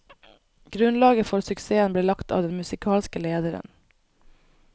Grunnlaget for suksessen ble lagt av den musikalske lederen.